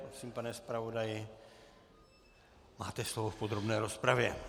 Prosím, pane zpravodaji, máte slovo v podrobné rozpravě.